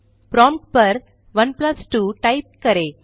prompt पर 12 type करें